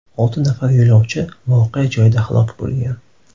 Olti nafar yo‘lovchi voqea joyida halok bo‘lgan.